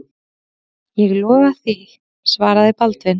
Ég lofa því, svaraði Baldvin.